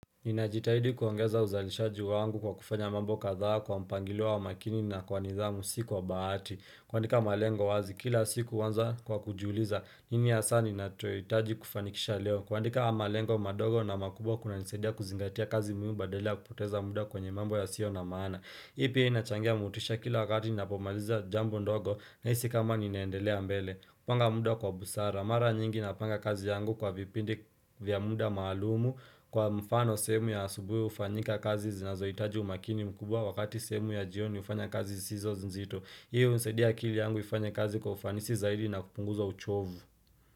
Nina jitahidi kuongeza uzalishaji wangu kwa kufanya mambo kadhaa kwa mpangilo wa makini na kwa nidhamu si kwa bahati kuandika malengo wazi kila siku huanza kwa kujiuliza nini hasa ninacho hitaji kufanikisha leo kuandika malengo madogo na makubwa kuna nisaidia kuzingatia kazi muhimu badala ya kupoteza muda kwenye mambo yasio na maana ipi inachangia motisha kila wakati ninapomaliza jambo ndogo nahisi kama ninaendelea mbele kupanga muda kwa busara, mara nyingi na panga kazi yangu kwa vipindi vya muda maalumu Kwa mfano sehemu ya asubuhi ufanyika kazi zinazohitaji umakini mkubwa Wakati sehemu ya jioni ufanya kazi sizo nzinzito hiyo usaidia akili yangu ifanye kazi kwa ufanisi zaidi na kupunguza uchovu.